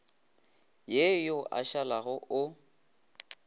ye yo a šalago o